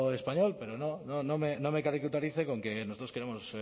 español pero no me caricaturice con que nosotros queremos